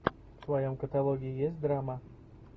в твоем каталоге есть драма